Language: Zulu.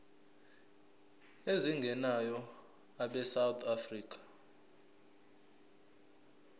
ezingenayo abesouth african